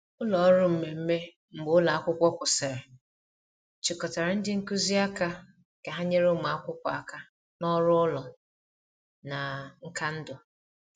Ụlọ ọrụ mmemme mgbe ụlọ akwụkwọ kwụsịrị chịkọtara ndị nkuzi aka ka ha nyere ụmụ akwụkwọ aka na ọrụ ụlọ na nka ndụ.